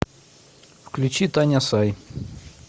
включи таня сай